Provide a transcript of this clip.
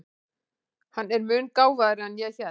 Hann er mun gáfaðri en ég hélt.